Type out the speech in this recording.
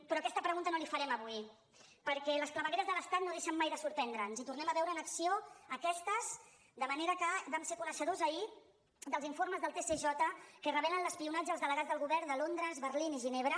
però aquesta pregunta no li farem avui perquè les clavegueres de l’estat no deixen mai de sorprendre’ns i tornem a veure en acció aquestes de manera que vam ser coneixedors ahir dels informes del tsj que revelen l’espionatge als delegats del govern de londres berlín i ginebra